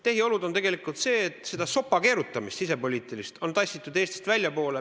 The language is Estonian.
Tehiolud näitavad, et seda sisepoliitilist sopakeerutamist on tassitud Eestist väljapoole.